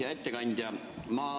Hea ettekandja!